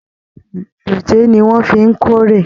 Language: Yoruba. Dòjé ní wọn fí n k'ore.